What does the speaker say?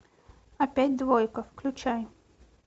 опять двойка включай